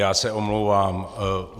Já se omlouvám.